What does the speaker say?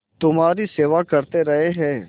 तुम्हारी सेवा करते रहे हैं